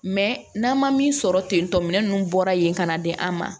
n'an ma min sɔrɔ ten tɔ minɛn nunnu bɔra yen ka na di an ma